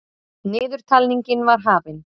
Niðurtalningin var hafin.